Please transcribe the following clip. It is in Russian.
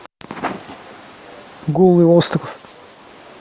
голый остров